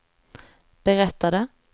berättade